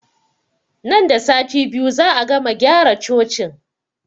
Nan da sati biyu za'a gama gyara cocin